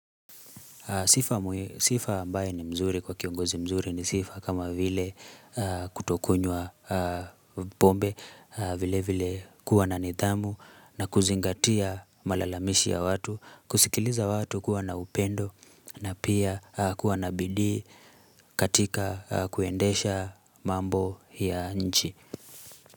Sifa ambaye ni mzuri kwa kiongozi mzuri ni sifa kama vile kutokunywa pombe vile vile kuwa na nithamu na kuzingatia malalamishi ya watu, kusikiliza watu kuwa na upendo na pia kuwa na bidii katika kuendesha mambo ya nchi.